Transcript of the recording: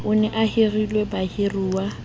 o ne o hirile bahiruwa